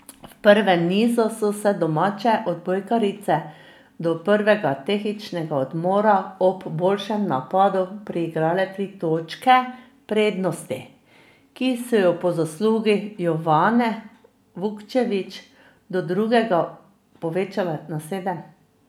V prvem nizu so si domače odbojkarice do prvega tehničnega odmora ob boljšem napadu priigrale tri točke prednosti, ki so jo po zaslugi Jovane Vukčević do drugega povečale na sedem.